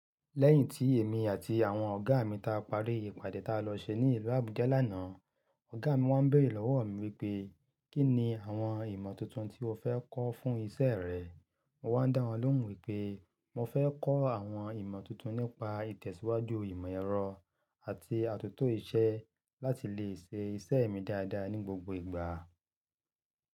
Lẹ́yìn tí èmi àti àwọn ọ̀gá mi ta parí ìpàdé ta lọ ṣe ní ìlú Abuja lánàá, ọ̀gá mi wá béèrè lọ́wọ́ mi wípé, "Kí ni àwọn ìmọ̀ tuntun tí o fẹ́ kọ́ fún ìṣe rẹ?" Mo wá ń dá wọn lóhùn wípé mo fẹ́ kọ́ àwọn ìmọ̀ tuntun nípa ìtẹ̀síwájú ìmọ̀ ẹ̀rọ àti àtòtò iṣẹ́ láti lè ṣe ìṣe mi dáadáa ní gbogbo ìgbà.